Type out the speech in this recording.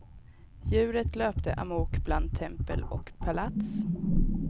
Djuret löpte amok bland tempel och palats.